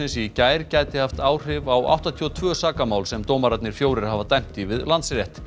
í gær gæti haft áhrif á áttatíu og tvö sakamál sem dómararnir fjórir hafa dæmt í við Landsrétt